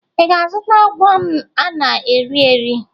Ị ga-azụta wọm a na-erị erị